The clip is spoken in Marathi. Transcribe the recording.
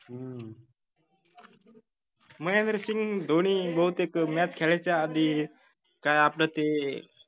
हम्म महेंद्रसिंग धोनी बहुतेक match खेळायच्या आधी का आपलं ते